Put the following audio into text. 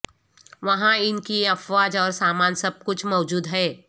وہاں ان کی افواج اور سامان سب کچھ موجود ہے